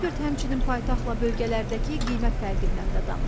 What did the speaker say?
Ekspert həmçinin paytaxtla bölgələrdəki qiymət fərqindən də danışdı.